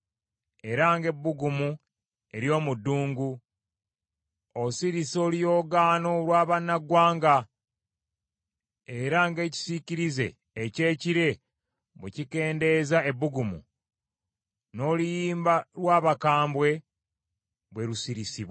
era ng’ebbugumu ery’omu ddungu. Osirisa oluyoogaano lw’abannaggwanga, era ng’ekisiikirize eky’ekire bwe kikendeeza ebbugumu, n’oluyimba lw’abakambwe bwe lusirisibwa.